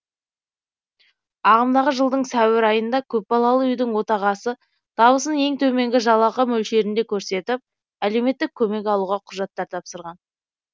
ағымдағы жылдың сәуір айында көпбалалы үйдің отағасы табысын ең төменгі жалақы мөлшерінде көрсетіп әлеуметтік көмек алуға құжаттар тапсырған